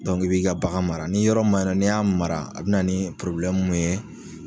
i b'i ka bagan mara ni yɔrɔ min maɲi n'i y'a mara, a bina ni mun ye